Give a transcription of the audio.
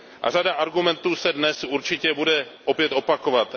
A řada argumentů se dnes určitě bude opět opakovat.